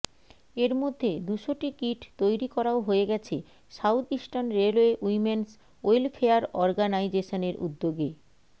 এর মধ্যে দুশোটি কিট তৈরি করাও হয়ে গেছে South Eastern Railway Women's Welfare অর্গানাইজেশনের উদ্যোগে